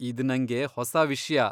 ಇದ್ ನಂಗೆ ಹೊಸ ವಿಷ್ಯ.